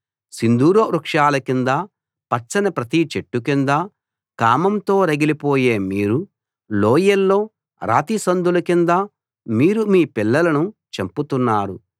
సింధూర వృక్షాల కింద పచ్చని ప్రతి చెట్టు కింద కామంతో రగిలిపోయే మీరు లోయల్లో రాతిసందుల కింద మీరు మీ పిల్లలను చంపుతున్నారు